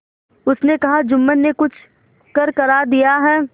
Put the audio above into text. उसने कहाजुम्मन ने कुछ करकरा दिया है